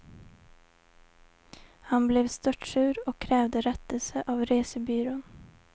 Han blev störtsur och krävde rättelse av resebyrån.